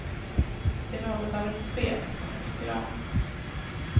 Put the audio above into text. Det är något av ett spel, som jag tycker om.